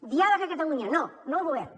diàleg a catalunya no no ho volem